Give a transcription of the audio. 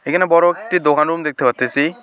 এখানে বড়ো একটি দোকান রুম দেখতে পারতেসি।